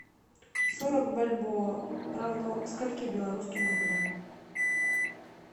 сорок бальбоа равно скольки белорусским рублям